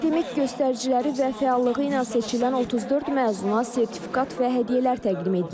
Akademik göstəriciləri və fəallığı ilə seçilən 34 məzuna sertifikat və hədiyyələr təqdim edilir.